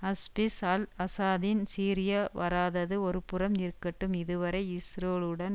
Hafiz al ஆசாதின் Syria வராதது ஒருபுறம் இருக்கட்டும் இதுவரை இஸ்ரோலுடன்